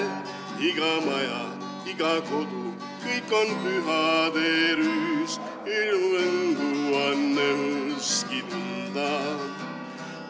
Iga maja, iga kodu, kõik on pühaderüüs, jõuluhõngu on õhuski tunda.